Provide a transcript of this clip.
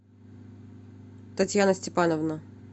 татьяна степановна